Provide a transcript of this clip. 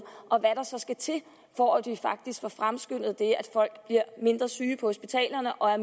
og så skal til for at vi faktisk får fremskyndet at folk bliver mindre syge på hospitalerne og